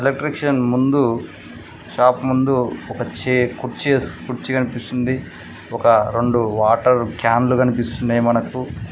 ఎలక్ట్రిక్షన్ ముందు షాప్ ముందు ఒక చే కుర్చీఏస్ కుర్చీ కనిపిస్తుంది ఒక రెండు వాటర్ క్యాన్లు కనిపిస్తున్నయ్ మనకు.